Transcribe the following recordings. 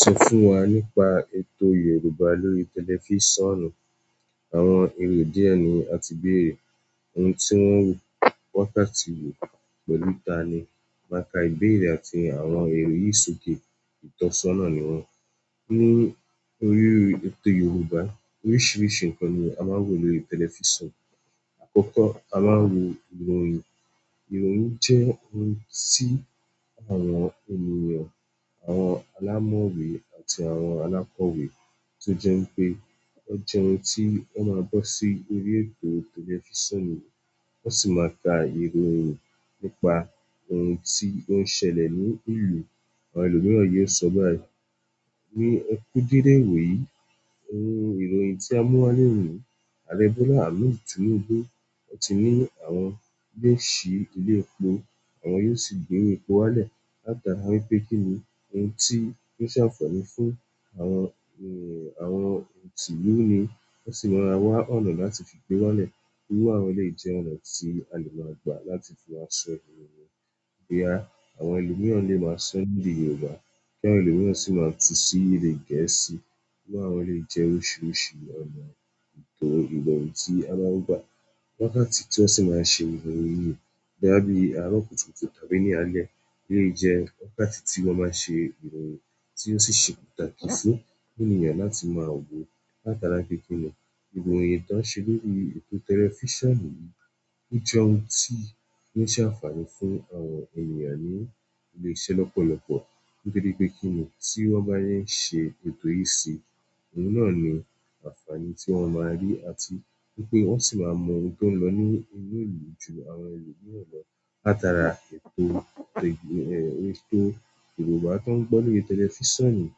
Sún fún wa nípa ètò Yorùbá lórí tẹlifísàn. Àwọn èrò díẹ̀ ni a ti béèrè. Ohun tí wọ́n wù wákàtí wo, pẹ̀lú ta ni, máa ka ìbéèrè àti àwọn èrò yìí sókè. Ìtọ́sọ́nà ni wọ́n. Nínú orí ètò Yorùbá, oríṣiríṣi nǹkan ni a máa ń wò lórí tẹlifísàn. Àkọ́kọ́, a máa ń wò ìròyìn. Ìròyìn jẹ́ ohun tí àwọn ènìyàn, àwọn alámọ̀wé àti àwọn alákọ̀wé tó jẹ́ wipé ó jẹ́ ohun tí wọn máa bọ́ sí orí ètò tẹlifísàn, wọ́n sì máa ka ìròyìn nípa ohun tí ó ń ṣẹlẹ̀ ní ìlú. Àwọn ẹlòmíràn yóò sọ báyìí. Eku dédé iwoyìí, ohun ìròyìn tí a mú wá loni, Àrè Bọ́lá Ahmed Tinúby, o ti ní àwọn yóò síibilé epo, àwọn yóò sì gbowo epo wálẹ̀. Láti ara wipé kí ni ohun tí yoó ṣe àǹfààní fún àwọn tìlú ni. Wọ́n sì máa wá ọ̀nà láti fi gbé wálẹ̀. Iru àwọn eleyii jẹ́ ọ̀nà tí a lè máa gbà láti fi maá ṣọ ìròyìn. Boya, àwọn ẹlòmíràn lè máa sọ ní èdè Yorùbá, kí àwọn ẹlòmíràn sì máa tú sí èdè Gẹ̀ẹ́sì. Wíwá wọn lè jẹ́ oríṣiríṣi ọ̀nà. Ìtàn ìròyìn tí a máa ń gbà wákàtí tí wọ́n sì máa ń ṣe ìròyìn yìí dábí àárọ̀ kùtùkùtù tàbí ní alẹ́ lè jẹ́ wákàtí tí wọ́n máa ń ṣe ìròyìn tí ó sì ṣe pàtàkì fún ènìyàn láti máa wò. Láti ara wipé kí ni ìròyìn tí wọ́n ń ṣe lórí ètò tẹlifísàn yìí, ó jẹ́ ohun tí yoó ṣe àǹfààní fún àwọn ènìyàn ní ilé iṣẹ́ lọ́pọ̀lọ́pọ̀. Nítorí pe kini ti wọn ba n ṣe ètò yìí síi, ohun náà ni àǹfààní ti wọn maa ri, àti wípé wọn sì máa mọ ohun ti o lo nínú ìlú ju àwọn elomiiran lọ. Láti ara ètò Yorùbá to ń gbọ́ lórí tẹlifísàn yìí,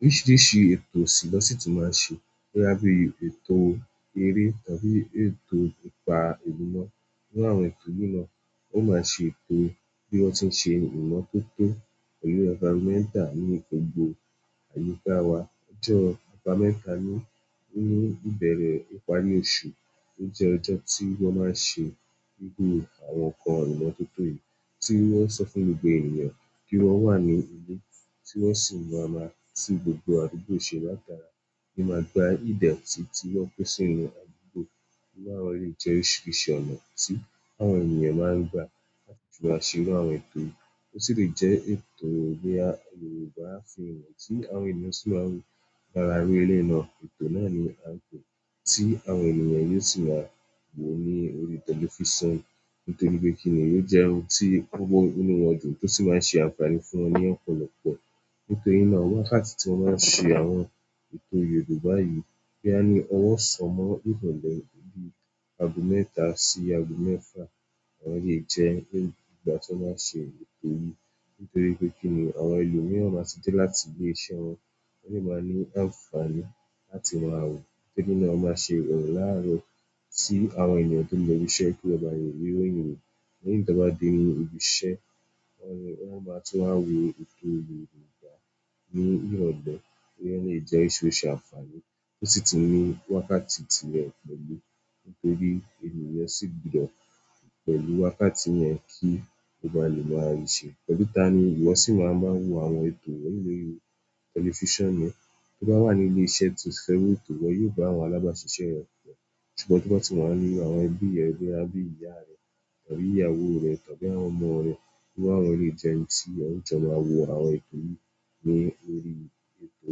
oríṣiríṣi ètò sì lọ́sì tun máa ṣe. Boya bíi ètò eré tàbí ètò nípa ìlú náà. Nínú àwọn ètò yìí náà, ó máa ṣe ètò bí wọ́n ti ń ṣe ìmọ̀ tooto pẹ̀lú environmental ní gbogbo àyíká wa. Ọjọ́ aba mẹ́ta nínú ìbẹ̀rẹ̀ ìparí oṣù, ó jẹ́ ọjọ́ tí wọ́n máa ń ṣe gbogbó àwọn nǹkan ìmọ̀ tótó yìí tí wọ́n sọ fún gbogbo ènìyàn kí wọ́n wà ní ilé, tí wọ́n sì máa maa tún gbogbo àdúgbò ṣe. Láti ara ní máa gba ìdẹ̀ti tí wọ́n pín sí inú àdúgbò. Iru àwọn eleyii jẹ́ oríṣiríṣi ọ̀nà tí àwọn ènìyàn máa ń gbà láti fi máa ṣe irú àwọn ètò yìí. Ó sì lè jẹ́ ètò boya Yorùbá fíìmù tí àwọn ènìyàn sì máa ń wo lára iru eleyii náà. Ètò náà ni à n pe tí àwọn ènìyàn yóò sì máa wo ó ní orí tẹlifísàn. Nítorí wípé kinni o jẹ ohun ti o maa n mu inú wọn dùn, to si maa n se àǹfààní fún wọn ni ọ̀pọ̀lọpọ̀. Nítorí náà, wákàtí tí wọ́n máa ń ṣe àwọn ètò Yorùbá yìí boya ni ọwọ́ ọsán mọ́ ìrọ̀lẹ́ bí i ago mẹ́ta sí ago mẹ́fà. Wọn lè jẹ́ ìgbà tí wọ́n máa ń ṣe ètò yìí. Nítorí wípé kínní àwọn elomiiran ma ti dee láti ile iṣẹ́ wọn, wọn de maa ni àǹfààní láti maa wo torí náà wọn máa ṣe ìròyìn laarọ ti àwọn ènìyàn to lọ ibi ki wọn ba le ri ìròyìn wo, lẹ́yìn ti wọn baa dee ibí iṣẹ́ wọ́n máa tún wá wo ètò Yorùbá ní ìrọ̀lẹ́ boya o lè jẹ́ eyií ti ó ṣe àǹfààní. Ó sì ti ní wákàtí ti rẹ̀ pẹ̀lú. Nítorí ènìyàn sì gbọ́ pẹ̀lú wákàtí yẹ̀n kí ó ba lè máa rí i ṣe, pẹ̀lú ta ni ìwọ sì máa ń bá wo àwọn ètò wonyìí lórí tẹlifísàn re? Tó bá wà ní ilé iṣẹ́ to seven ètò, iwo yóò ba àwọn alábáṣiṣẹ́ rẹ pọ. Ṣùgbọ́n to ba tì wa ní àwọn ẹbí rẹ boya bí i ìyá rẹ tàbí ìyàwó rẹ tàbí àwọn ọmọ rẹ. Wíwá àwọn eleyii jẹ́ ẹni tí ẹ jọ máa wo àwọn ètò yìí ní orí ètò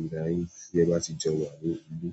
ira yìí tí ẹ bá ti jo wá ní ilé.